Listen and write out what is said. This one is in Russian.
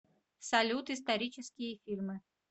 салют исторические фильмы